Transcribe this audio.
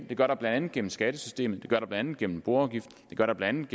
det gør der blandt andet gennem skattesystemet det blandt andet gennem boafgiften det gør der blandt